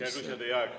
Hea küsija, teie aeg!